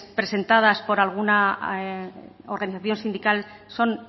presentadas por alguna organización sindical son